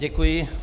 Děkuji.